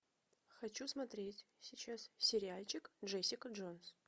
хочу смотреть сейчас сериальчик джессика джонс